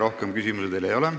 Rohkem küsimusi teile ei ole.